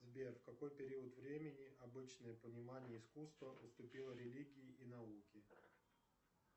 сбер в какой период времени обычное понимание искусства уступило религии и науке